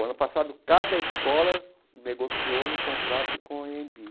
O ano passado, cada escola negociou um contrato com a EMBI.